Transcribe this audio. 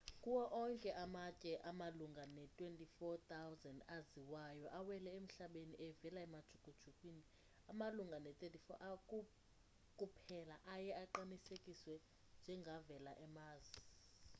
kuwo onke amatye amalunga ne-24,000 aziwayo awele emhlabeni evela emajukujukwini amalunga ne-34 kuphela aye aqinisekiswe njengavela e-mars